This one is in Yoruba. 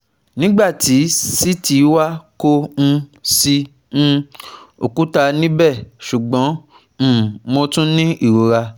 nigba ti CT wa ko um si um okuta nibẹ ṣugbọn um Mo tun ni irora